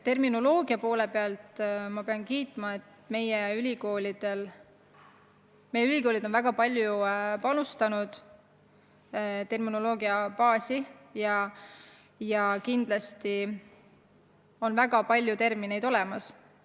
Terminoloogia poole pealt ma pean kiitma, et meie ülikoolid on väga palju panustanud terminoloogiabaasi ja väga palju termineid on olemas.